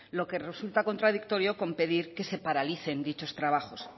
lo que resulta contradictorio con pedir que se paralicen dichos trabajos